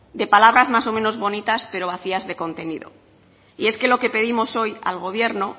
de palabras más o menos bonitas pero vacías de contenido y es lo que pedimos hoy al gobierno